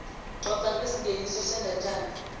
coca ngesingeniso sendatjana